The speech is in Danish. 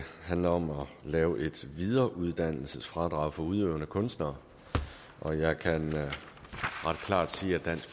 handler om at lave et videreuddannelsesfradrag for udøvende kunstnere og jeg kan ret klart sige at dansk